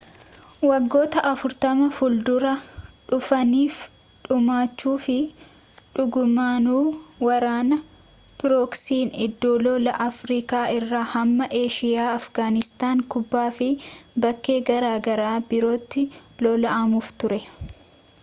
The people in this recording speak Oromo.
waggoota 40 fuldura dhuufaniif dhumachuufi dhugumaanu waraana pirooksiin iddoo lolaa afrikaa irraa hamma eshiyaa afigaaniistaan kuubaafi baakkee garaagaraa birootti lolamuuf ture